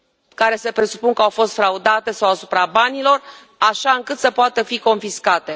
care se presupune că au fost fraudate sau asupra banilor, așa încât să poată fi confiscate.